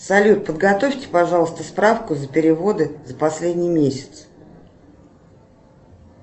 салют подготовьте пожалуйста справку за переводы за последний месяц